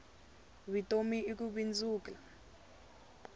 vutomi i ku bindzula